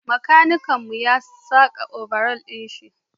makanikin mu ba ya saka obaral din Shi